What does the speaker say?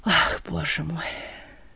ах боже мой